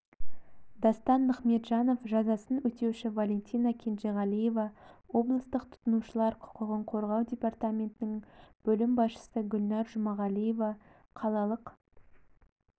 дастан нығметжанов жазасын өтеуші валентина кенжеғалиева облыстық тұтынушылар құқығын қорғау департаментінің бөлім басшысы гүлнәр жұмағалиева қалалық